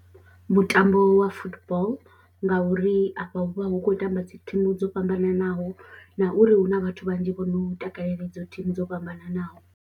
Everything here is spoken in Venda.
Mutambo wa football ngauri afha hu vha hu khou tamba dzi thimu dzo fhambananaho na uri hu na vhathu vhanzhi vho no u takalela idzo thimu dzo fhambananaho.